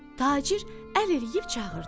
Tacir əl eləyib çağırdı.